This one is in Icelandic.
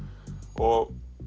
og